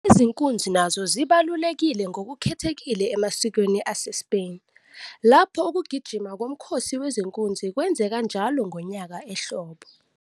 Izinkunzi nazo zibaluleke ngokukhethekile emasikweni aseSpain, lapho ukugijima komkhosi wezinkunzi kwenzeka njalo ngonyaka ehlobo.